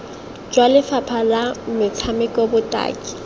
jwa lefapha la metshameko botaki